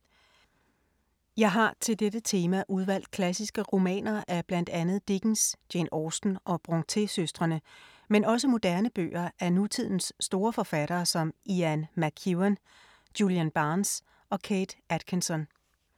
Jeg har til dette tema udvalgt klassiske romaner af blandt andet Dickens, Jane Austen og Brontë-søstrene, men også moderne bøger af nutidens store forfattere som Ian McEwan, Julian Barnes og Kate Atkinson.